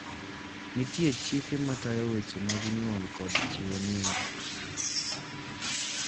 Nitie chike matayo weche mag nyuol kod chiwo nying.